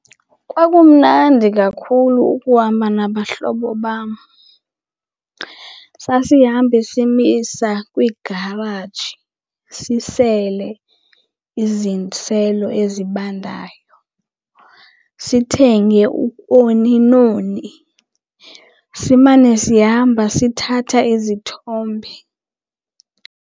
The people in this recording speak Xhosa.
Kwakumnandi kakhulu ukuhamba nabahlobo bam. Sasihamba simisa kwiigaraji sisele iziselo ezibandayo, sithenge ooni nooni, simane sihamba sithatha izithombe.